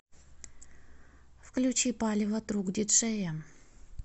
включи палево другдиджея